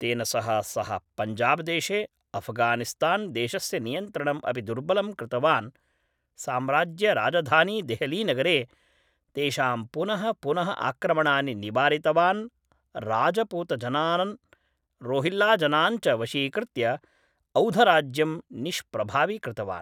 तेन सह सः पञ्जाबदेशे अफगानिस्तान्देशस्य नियन्त्रणम् अपि दुर्बलं कृतवान् साम्राज्यराजधानीदेहलीनगरे तेषां पुनः पुनः आक्रमणानि निवारितवान् राजपूतजनान् रोहिल्लाजनान् च वशीकृत्य औधराज्यं निष्प्रभावीकृतवान्